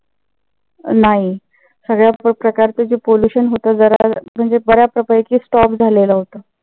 नाही. सगळ्याच प्रकारचे जे pollution होत. म्हणजे बऱ्याच प्रकारे ते stop झालेलं होत.